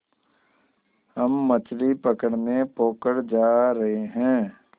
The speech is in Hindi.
हम मछली पकड़ने पोखर जा रहें हैं